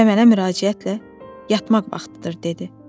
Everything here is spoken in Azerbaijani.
Və mənə müraciətlə yatmaq vaxtıdır dedi.